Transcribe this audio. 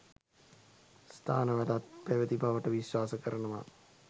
ස්ථානවලත් පැවති බවට විශ්වාස කරනවා.